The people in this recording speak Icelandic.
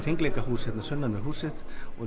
hringleikahús sunnan við húsið